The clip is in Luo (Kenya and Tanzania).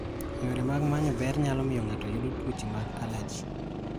Yore mag manyo ber nyalo miyo ng'ato yudo tuoche mag allergy.